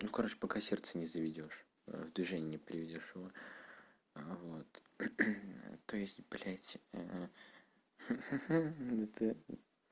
ну короче пока сердце не заведёшь а в движение не приведёшь его а вот то есть блядь это